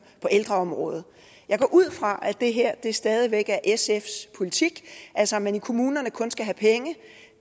på ældreområdet jeg går ud fra at det her stadig væk er sfs politik altså at man i kommunerne kun skal have penge